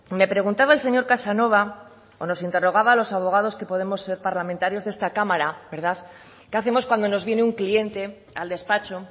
me preguntaba el señor casanova o nos interrogaba a los abogados que podemos ser parlamentarios de esta cámara qué hacemos cuando nos viene un cliente al despacho